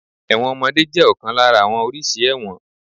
Ẹ̀wọ̀n ọmọdé jẹ́ ọ̀kan lára àwọn oríṣi ẹ̀wọ̀n.